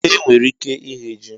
Enwere ike ighe ji